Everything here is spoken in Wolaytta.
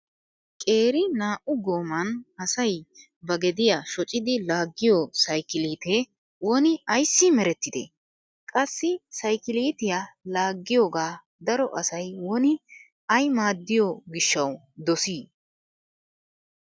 Qeeri naa"u gooman asay ba gediya shocidi laaggiyo saykiliite woni ayssi merettide? Qassi saykiliitiya laaggiyoga daro asay woni ay maaddiyo gishshawu dosi?